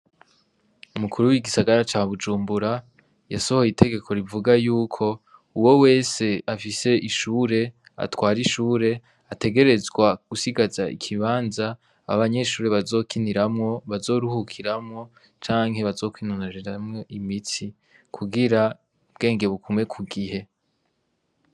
Umukuru w'igisagara ca bujumbura yasohoye itegeko rivuga yuko uwo wese afise ishure atwara ishure ategerezwa gusigaza ikibanza abanyeshure bazokiniramwo bazorohukiramwo canke bazokwinoneramwo imitsi kugira ubwenge bugumw kugihe.